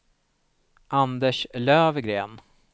Anders Löfgren